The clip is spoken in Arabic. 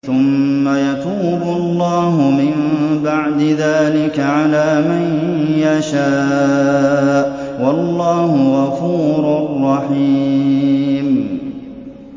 ثُمَّ يَتُوبُ اللَّهُ مِن بَعْدِ ذَٰلِكَ عَلَىٰ مَن يَشَاءُ ۗ وَاللَّهُ غَفُورٌ رَّحِيمٌ